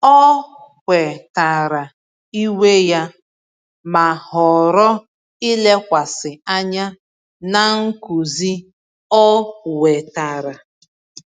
Ọ kwetara iwe ya, ma họrọ ilekwasị anya na nkuzi ọ wetara.